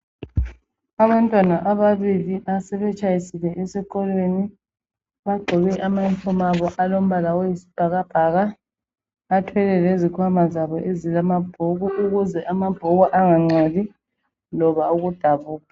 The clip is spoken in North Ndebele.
Abantwana ababili asebetshayisile esikolweni bagqoke ama uniform abo alombala oyisibhakabhaka. Bathwele lezikhwama zabo ezilamabhuku ukuze amabhuku angangcoli loba ukudabuka.